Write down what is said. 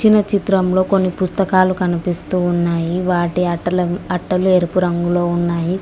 ఇచిన్న చిత్రంలో కొన్ని పుస్తకాలు కనిపిస్తూ ఉన్నాయి వాటి అట్టలు ఎరుపు రంగులో ఉన్నాయి.